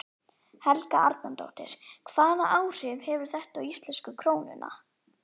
Helga Arnardóttir: Hvaða áhrif hefur þetta á íslensku krónuna?